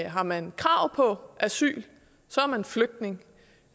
har man krav på asyl er man flygtning